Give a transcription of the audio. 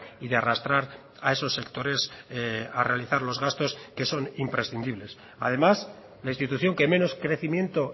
y de arrastrar a esos sectores a realizar los gastos que son imprescindibles además la institución que menos crecimiento